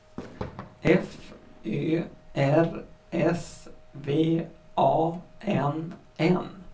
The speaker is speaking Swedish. F Ö R S V A N N